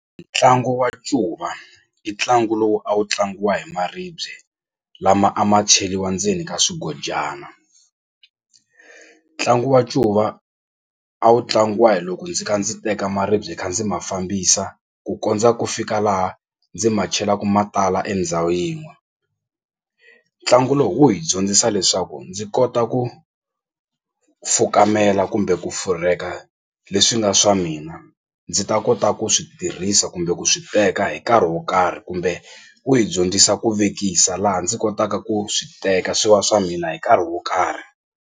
Ntlangu wa ncuva i ntlangu lowu a wu tlangiwa hi maribye lama a ma cheliwa ndzeni ka swigodyana. Ntlangu wa ncuva a wu tlangiwa hi loko ndzi kha ndzi teka maribye kha ndzi ma fambisa ku kondza ku fika laha ndzi ma chelaku matala endhawu yin'we ntlangu lowu wu hi dyondzisa leswaku ndzi kota ku fukamela kumbe ku furheka leswi nga swa mina ndzi ta kota ku swi tirhisa kumbe ku swi teka hi nkarhi wo karhi kumbe wu yi dyondzisa ku vekisa laha ndzi kotaka ku swi teka swi wa swa mina hi nkarhi wo karhi.